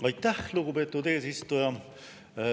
Aitäh, lugupeetud eesistuja!